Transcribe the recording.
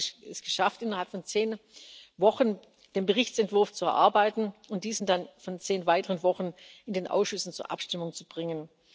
Wir haben es geschafft, innerhalb von zehn Wochen den Berichtsentwurf zu erarbeiten und diesen dann innerhalb von zehn weiteren Wochen in den Ausschüssen zur Abstimmung zu bringen.